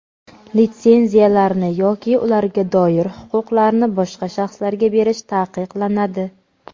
Litsenziyalarni yoki ularga doir huquqlarni boshqa shaxslarga berish taqiqlanadi.